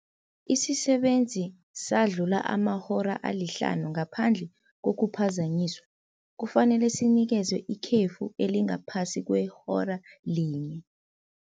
Isisebenzi sadlula amahora alihlanu ngaphandle kokuphazanyiswa, kufanele sinikezwe ikhefu elingaphasi kwehora linye.